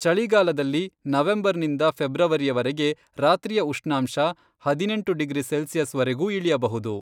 ಚಳಿಗಾಲದಲ್ಲಿ, ನವೆಂಬರ್ನಿಂದ ಫೆಬ್ರವರಿಯವರೆಗೆ, ರಾತ್ರಿಯ ಉಷ್ಣಾಂಶ ಹದಿನೆಂಟು ಡಿಗ್ರಿ ಸೆಲ್ಸಿಯಸ್ವರೆಗೂ ಇಳಿಯಬಹುದು.